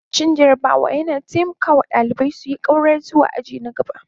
Cin jarabawa yana taimaka wa ɗalibai su ƙaura zuwa aji na